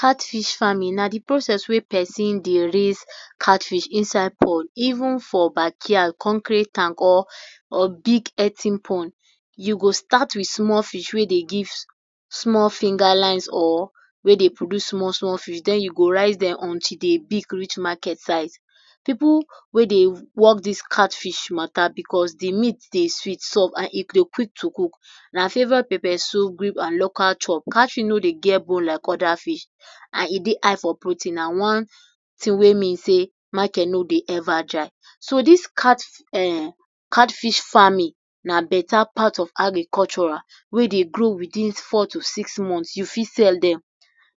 Catfish farming na di process wey persin dey raise catfish inside pond, even for backyard, concrete tank or big pond you go start with small fish wey dey give small finger lines or wey dey produce small small fish den u go rise dem until dem big reach market size pipu wey dey work dis catfish matter because de meat dey sweet, soft and e dey quick to cook, na flavored pepper soup and local chop, catfish no dey get bone like oda fish and e dey high for protein na one tin wey mean dey market no dey even dry so dis cat um catfish farming na better part of agricultural wey dey grow within four to six months u fit sell dem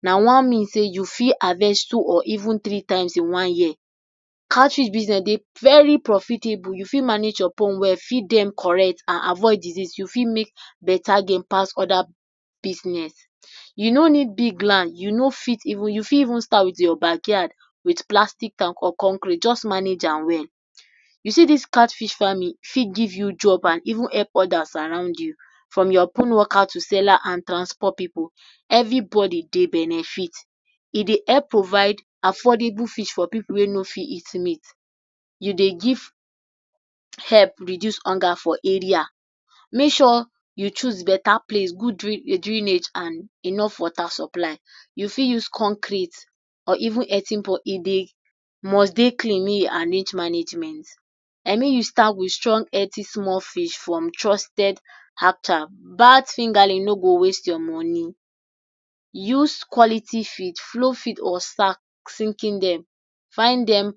na one means sey u fit harvest two or even three times in one year, catfish business dey very profitable u fit manage your pond well feed dem correct and avoid disease u fit make better gain pass oda business, you no eed big land u fit even start with your backyard with plastic tank or concrete, just manage am well, u see dis catfish farming fit give you job and even help odas around you, from your pond worker to seller and transport pipu every body dey benefit, e dey help provide affordable fish for pipu wey no fit eat meat, you dey give help reduce help for area make sure you choose better place good drainage and water supply, you fit use concrete or even e dey must dey clean make u arrange management and make u start with healthy small fish from trusted Hatcher, bad fingerling no go waste your money, use quality feed, flow feed or find dem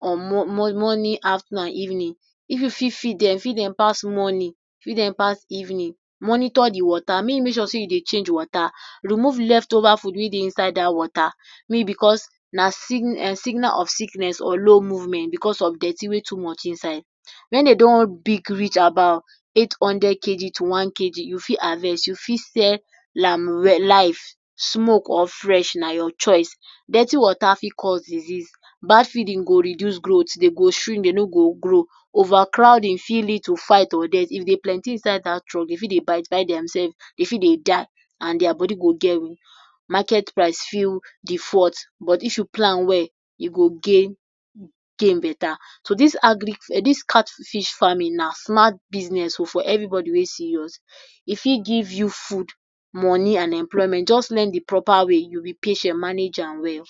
on morning afternoon and evening, if u fit feed dem feed dem pass morning feed dem pass evening, monitor di water, make u make sure sey u dey change di water, remove left over food wey dey inside dat water, Me because na signal of sickness or low movement because of dirty wey too much inside, wen dem don big reach about eight hundred kg to one kg u fit harvest u fit sell am life, smoke or fresh na your choice, dirty water for cause disease bad feeding go reduce growth dem go shrink dem no go grow, over crowding fit lead to fight or dirty, if dem plenty inside dat trunk dem fit dey bite bite dem selves dem fit dey die and dia body go get wound, market price fir default but if you do am well u go gain better, so dis catfish farming na smart business for everybody wey serious e fit give you food, money and employment, just learn de proper way, be patient manage am well.